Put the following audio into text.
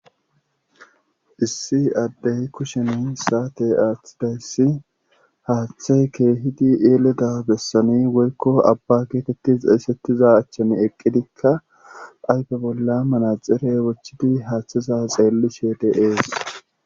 issi addey kusheni saate aathidayssi haaththe keehidi eeleda bessoni woykko abba geetetti xeesettiza achchan eqqidikka aype bolla manaxire wochidi haaththiza xeelli sheede ees